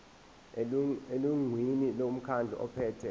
elungwini lomkhandlu ophethe